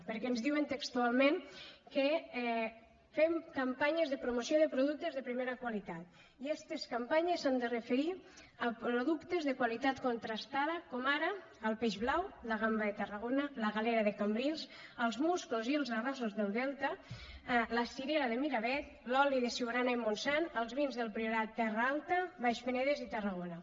perquè ens diuen textualment que fem campanyes de promoció de productes de primera qualitat i estes campanyes s’han de referir a productes de qualitat contrastada com ara el peix blau la gamba de tarragona la galera de cambrils els musclos i els arrossos del delta la cirera de miravet l’oli de siurana i montsant i els vins del priorat terra alta baix penedès i tarragona